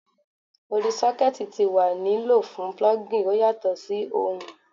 Odi sockets ti wa ni lo fun plugging o yatọ si ohun